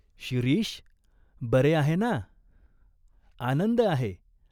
"शिरीष, बरे आहे ना ?" "आनंद आहे.